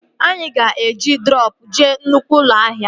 Anyị ga-eji droopụ jee nnụkwụ ụlọ ahịa